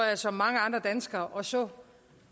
jeg som mange andre danskere og så